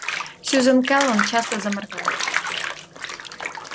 сьюзен кэлвин часто заморгала